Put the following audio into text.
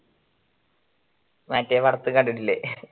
മറ്റേ വർക്ക് കണ്ടിട്ടില്ലേ